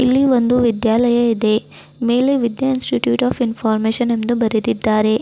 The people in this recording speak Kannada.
ಒಂದು ವಿದ್ಯಾಲಯ ಇದೆ ಮೇಲೆ ವಿದ್ಯಾ ಇನ್ಸ್ಟಿಟ್ಯೂಟ್ ಆಫ್ ಇನ್ಫಾರ್ಮಶನ್ ಎಂದು ಬರೆದಿದ್ದಾರೆ.